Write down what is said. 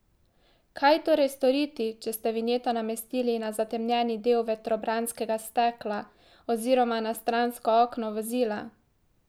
Kaj torej storiti, če ste vinjeto namestili na zatemnjeni del vetrobranskega stekla oziroma na stransko okno vozila?